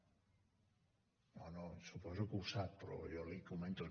no no suposo que ho sap però jo li ho comento